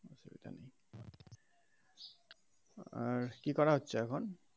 আর কি করা হচ্ছে এখন?